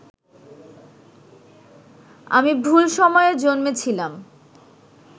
আমি ভুল সময়ে জন্মেছিলাম